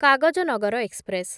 Kagaznagar express